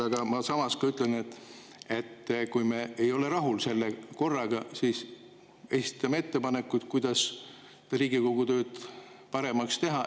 Aga samas ma ütlen, et kui me ei ole rahul selle korraga, siis esitame ettepanekuid, kuidas Riigikogu tööd paremaks teha.